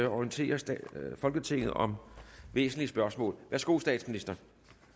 orientere folketinget om væsentlige spørgsmål værsgo til statsministeren